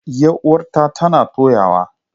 Yar uwata tana toyawa.